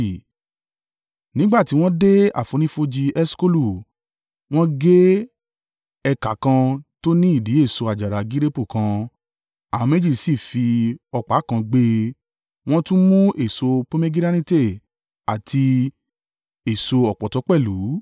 Nígbà tí wọ́n dé àfonífojì Eṣkolu, wọ́n gé ẹ̀ka kan tó ní ìdì èso àjàrà gireepu kan. Àwọn méjì sì fi ọ̀pá kan gbé e; wọ́n tún mú èso pomegiranate àti èso ọ̀pọ̀tọ́ pẹ̀lú.